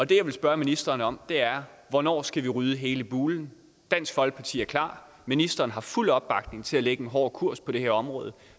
det jeg vil spørge ministeren om er hvornår skal vi rydde hele bulen dansk folkeparti er klar ministeren har fuld opbakning til at lægge en hårdere kurs på det her område